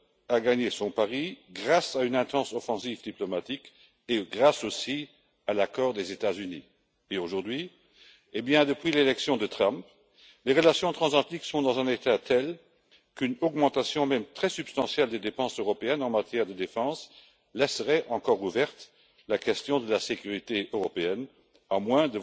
a gagné son pari grâce à une vaste offensive diplomatique et grâce aussi à l'accord des États Unis. Aujourd'hui, depuis l'élection de Trump, les relations transatlantiques sont dans un état tel qu'une augmentation, même très substantielle, des dépenses européennes en matière de défense laisserait encore ouverte la question de la sécurité européenne, à moins